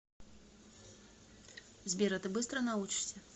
сбер а ты быстро научишься